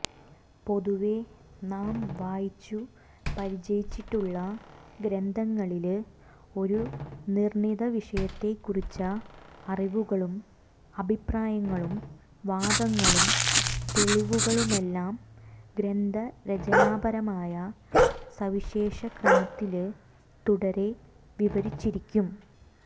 പൊതുവേ നാം വായിച്ചു പരിചയിച്ചിട്ടുള്ള ഗ്രന്ഥങ്ങളില് ഒരു നിര്ണിതവിഷയത്തെക്കുറിച്ച അറിവുകളും അഭിപ്രായങ്ങളം വാദങ്ങളും തെളിവുകളുമെല്ലാം ഗ്രന്ഥരചനാപരമായ സവിശേഷക്രമത്തില് തുടരെ വിവരിച്ചിരിക്കും